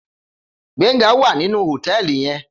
Gbenga wá ninú hótèlí yèn